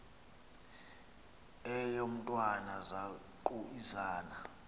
eyo mntwana zaquisana